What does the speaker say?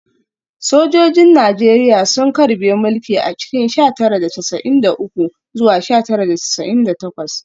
Sojojin Najeriya sun karbe mulki a cikin sha tara da casa’in da uku zuwa sha tara da casa’in da takwas